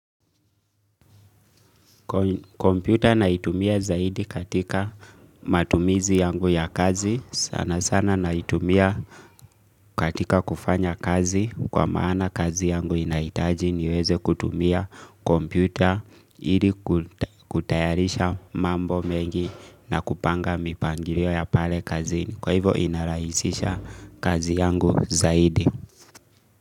Computer naitumia zaidi katika matumizi yangu ya kazi. Sana sana naitumia katika kufanya kazi kwa maana kazi yangu inahitaji niweze kutumia kompyuta ili kutayarisha mambo mengi na kupanga mipangilio ya pale kazini. Kwa hivyo inarahisisha kazi yangu zaidi.